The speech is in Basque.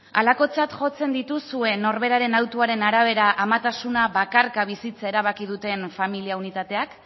halakotzat jotzen dituzue norberaren hautuaren arabera amatasuna bakarka bizitza erabaki duten familia unitateak